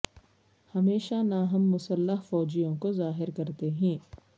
ہمیشہ نہ ہم مسلح فوجیوں کو ظاہر کرتے ہیں